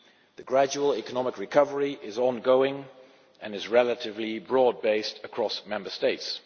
The gradual economic recovery is ongoing and is relatively broadly based across Member States.